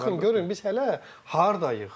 Yəni baxın görün, biz hələ hardayıq.